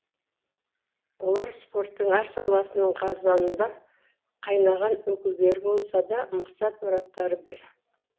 олар спорттың әр саласының қазанында қайнаған өкілдері болса да мақсат мұраттары бір